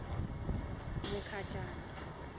mukhacani